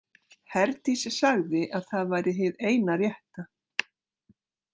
Herdís sagði að það væri hið eina rétta.